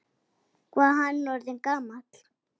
Hvað er hann orðinn gamall?